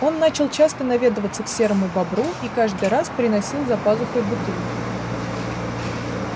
он стал часто наведываться к серому бобру и каждый раз приносил за пазухой бутылку